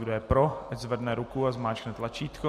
Kdo je pro, ať zvedne ruku a zmáčkne tlačítko.